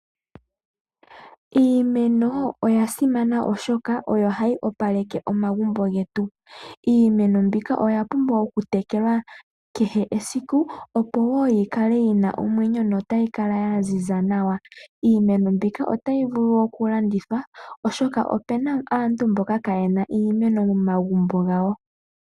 Iimeno oya simana oshoka oyo hayi opaleke omagumbo getu. Iimeno mbika oyapumbwa okutekelwa kehe esiku opo woo yikale yina omwenyo notayi kala ya ziza nawa. Iimeno mbika otayi vulu oku landithwapo oshoka opena aantu mboka kayena iimeno momagumbo gawo.